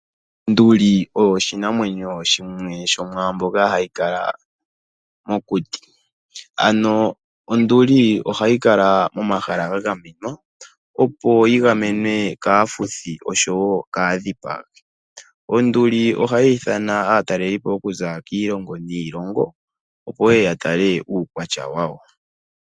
Onduli oyo oshinamwanyo shimwe shomwaambyoka hayi kala mokuti. Ano onduli ohayi kala momahala ga gamenwa, opo yi gamenwe kaafuthi oshowo kaadhipagi. Onduli ohayi ithana aataleli po okuza kiilongo niilongo, opo yeye ya tale uukwatya wayo.